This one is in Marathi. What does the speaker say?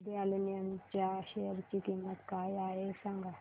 हिंद अॅल्युमिनियम च्या शेअर ची किंमत काय आहे हे सांगा